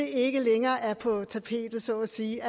ikke længere er på tapetet så at sige